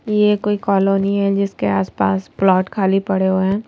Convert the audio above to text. यह कोई कॉलोनी हैजिसके आसपास प्लॉट खाली पड़े हुए हैं।